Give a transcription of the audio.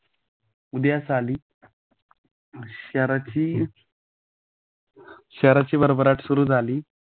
उद्यास आली शहराची शहराची भरभराट सुरू झाली.